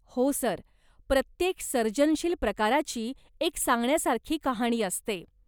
हो, सर. प्रत्येक सर्जनशील प्रकाराची एक सांगण्यासारखी कहाणी असते.